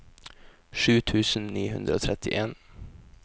sju tusen ni hundre og trettien